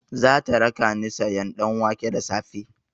Zata rakani sayan ɗanwake da safe.